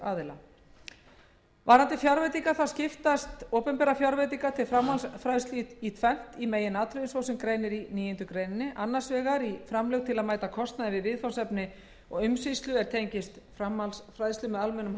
fræðsluaðila varðandi fjárveitingar þá skiptast opinberar fjárveitingar til framhaldsfræðslu í tvennt í meginatriðum svo sem greinir í níundu grein a framlög til að mæta kostnaði við viðfangsefni og umsýslu er tengist framhaldsfræðslu með almennum